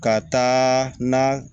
Ka taa na